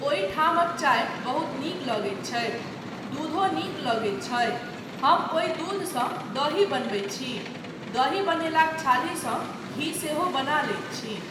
ओहि ठामक चाय बहुत नीक लगैत छै, दूधो नीक लगैत छै, हम ओहि दूधसँ दही बनबैत छी, दही बनेलाक छालीसँ घी सेहो बना लैत छी।